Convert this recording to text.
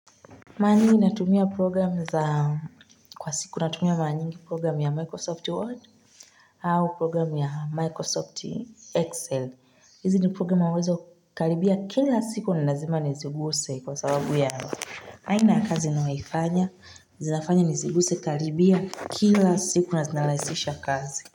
Mara nyingi natumia program za kwa siku natumia mara nyingi program ya Microsoft Word au program ya Microsoft Excel hizi ni program unaweza karibia kila siku ni lazima niziguze kwa sababu ya aina ya kazi ninayoifanya, zinafanya niziguze karibia kila siku na zinaraisisha kazi.